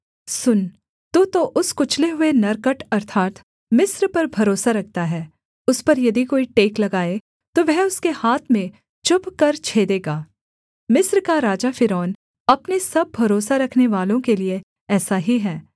सुन तू तो उस कुचले हुए नरकट अर्थात् मिस्र पर भरोसा रखता है उस पर यदि कोई टेक लगाए तो वह उसके हाथ में चुभकर छेदेगा मिस्र का राजा फ़िरौन अपने सब भरोसा रखनेवालों के लिये ऐसा ही है